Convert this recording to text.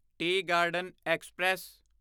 T garden express